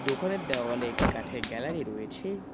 দোকানের দেওয়ালে একটি কাঠের গ্যালারি রয়েছে।